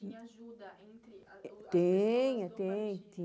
Tinha ajuda entre as ou as pessoas do Tem, tem,